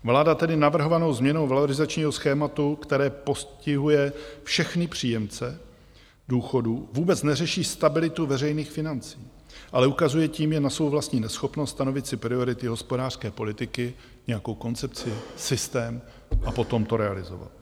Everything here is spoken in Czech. Vláda tedy navrhovanou změnou valorizačního schématu, která postihuje všechny příjemce důchodů, vůbec neřeší stabilitu veřejných financí, ale ukazuje tím jen na svou vlastní neschopnost stanovit si priority hospodářské politiky, nějakou koncepci, systém a potom to realizovat.